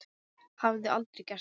Hafði aldrei gert það.